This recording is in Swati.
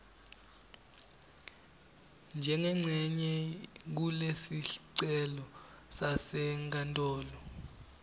njengencenye kulesicelo sasenkantolo